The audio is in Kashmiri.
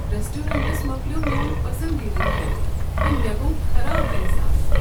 ریسٹورینٹس مکلیو میون پسندیدٕ کھٮ۪ن تہٕ مےٚ گوو خراب احساس ۔